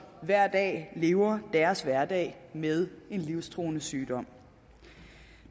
hver dag lever deres hverdag med en livstruende sygdom